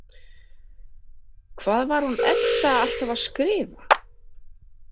Hvað var hún Edda alltaf að skrifa?